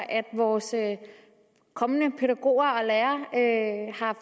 at vores kommende pædagoger og lærere